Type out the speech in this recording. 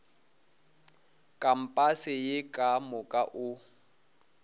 kampase ye ka moka o